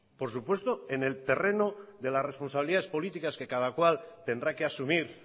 por supuesto en el terreno de las responsabilidades políticas que cada cual tendrá que asumir